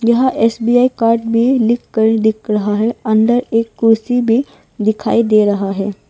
यहां SBI card भी लिखकर दिख रहा है अंदर एक कुर्सी भी दिखाई दे रहा है।